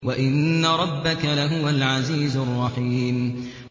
وَإِنَّ رَبَّكَ لَهُوَ الْعَزِيزُ الرَّحِيمُ